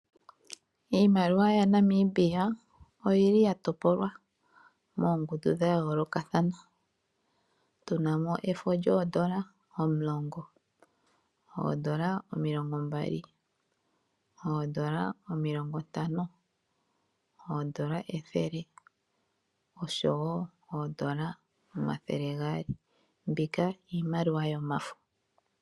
Iimaliwa yaNamibia oyi li ya topolwa moongundu dha yoolokathana. Tu na mo efo lyoodola omulongo, oodola omilongombali, oodola omilongontango, oodola ethele osho wo oodola omathele gaali. Mbika iimaliwa yomafo.